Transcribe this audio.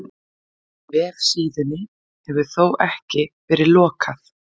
Vefsíðunni hefur þó ekki verið lokað